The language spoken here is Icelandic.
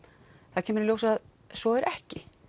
það kemur í ljós að svo er ekki